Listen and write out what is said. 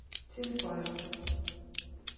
tilføjer